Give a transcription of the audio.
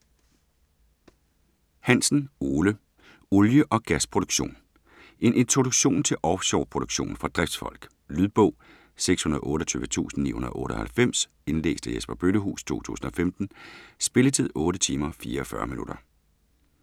Hansen, Ole: Olie og gasproduktion En introduktion til offshore produktion for driftsfolk. Lydbog 628998 Indlæst af Jesper Bøllehuus, 2015. Spilletid: 8 timer, 44 minutter.